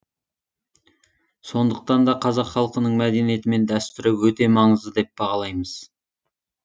сондықтан да қазақ халқының мәдениеті мен дәстүрі өте маңызды деп бағалаймыз